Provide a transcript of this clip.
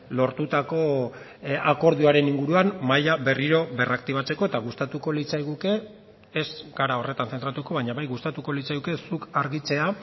lortutako akordioaren inguruan mahaia berriro berraktibatzeko eta gustatuko litzaiguke ez gara horretan zentratuko baina bai gustatuko litzaiguke zuk argitzea